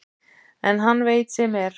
En hann veit sem er.